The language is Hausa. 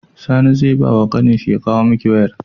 Sani ze bawa ƙanin shi ya kawo miki wayar